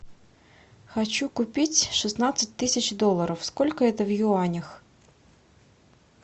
хочу купить шестнадцать тысяч долларов сколько это в юанях